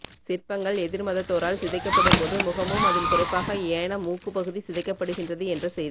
சிற்பங்கள் எதிர் மதத்தோரால் சிதைக்கப்படும் போது முகமும் அதில் குறிப்பாக ஏன மூக்குப் பகுதி சிதைக்கப்படுகின்றது என்ற செய்தி